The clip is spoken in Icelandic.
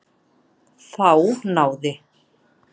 Þá náði